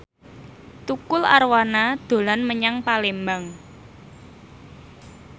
Tukul Arwana dolan menyang Palembang